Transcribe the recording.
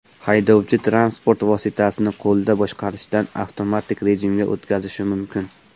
Haydovchi transport vositasini qo‘lda boshqarishdan avtomatik rejimga o‘tkazishi mumkin.